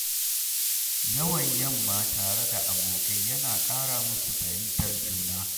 Yawon yamma tare da abokai yana ƙara musu fahimtar juna.